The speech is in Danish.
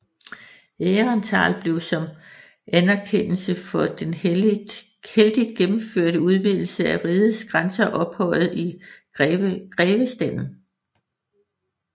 Aehrenthal blev som anerkendelse for den heldigt gennemførte udvidelse af rigets grænser ophøjet i grevestanden